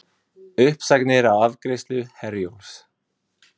Uppsagnir á afgreiðslu Herjólfs